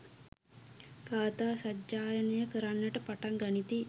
ගාථා සජ්ඣායනය කරන්නට පටන් ගනිති.